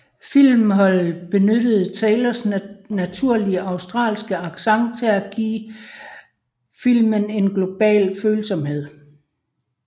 Filmholdet benyttede Taylors naturlige australske accent til at give filmen en global følsomhed